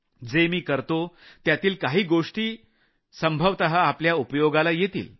जे मी करतो त्यातील काही गोष्टी कडाचीय आपल्या उपयोगाला येतील